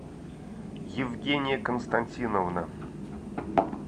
евгения константиновна